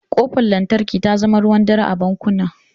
Ƙofar lantarki ta zama ruwan dare a bankuna.